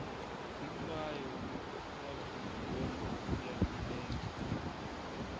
hinkwayo wa bolo ya milenge